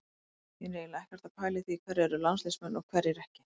Ég er eiginlega ekkert að pæla í því hverjir eru landsliðsmenn og hverjir ekki.